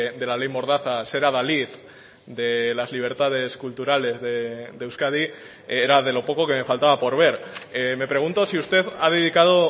de la ley mordaza ser adalid de las libertades culturales de euskadi era de lo poco que me faltaba por ver me pregunto si usted ha dedicado